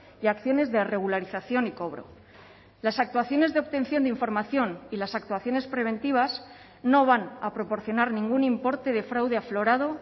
y acciones de regularización y cobro las actuaciones de obtención de información y las actuaciones preventivas no van a proporcionar ningún importe de fraude aflorado